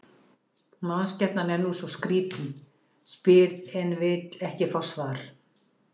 Mannskepnan er nú svona skrýtin, spyr en vill ekki fá svar.